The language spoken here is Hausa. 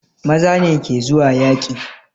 Maza ne ke zuwa yaƙi